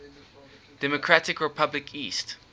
democratic republic east